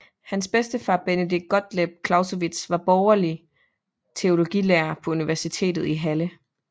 Hans bedstefar Benedict Gottlob Clausewitz var borgerlig teologilærer på universitetet i Halle